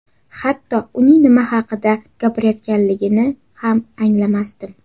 Hatto uning nima haqida gapirayotganligini ham anglamasdim.